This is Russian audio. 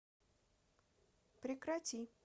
прекрати